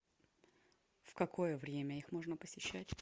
в какое время их можно посещать